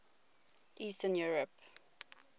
eastern europe